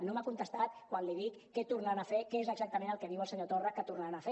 no m’ha contestat quan li dic què tornaran a fer què és exactament el que diu el senyor torra que tornaran a fer